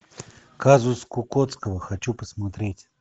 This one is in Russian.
казус кукоцкого хочу посмотреть